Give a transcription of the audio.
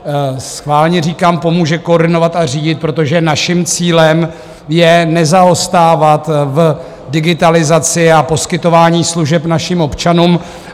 Schválně říkám: pomůže koordinovat a řídit, protože naším cílem je nezaostávat v digitalizaci a poskytování služeb našim občanům.